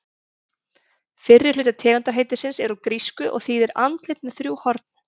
Fyrri hluti tegundarheitisins er úr grísku og þýðir andlit með þrjú horn.